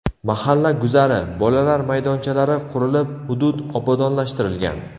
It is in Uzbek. Mahalla guzari, bolalar maydonchalari qurilib, hudud obodonlashtirilgan.